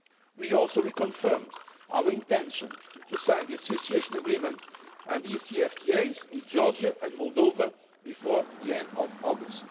We also reconfirmed our intention to sign association agreements and DCFTAs with Georgia and Moldova before the end of August.